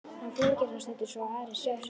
Hann flengir hann stundum svo aðrir sjá, sagði